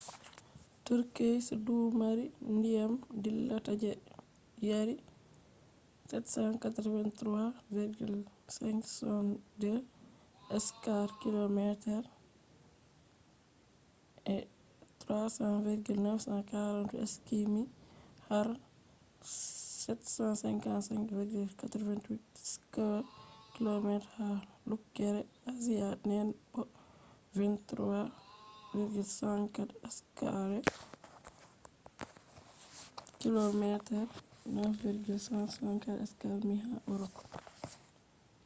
turkeys dumari ndiyam dillata je yari783,562 square kilometres300,948 sq mi har 755,688 square kilometres ha lukkere asia den bo23,764 square kilometer 9,174 sq mi ha europe